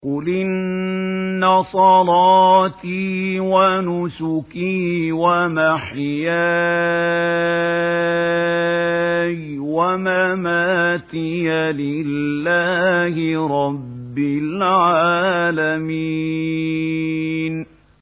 قُلْ إِنَّ صَلَاتِي وَنُسُكِي وَمَحْيَايَ وَمَمَاتِي لِلَّهِ رَبِّ الْعَالَمِينَ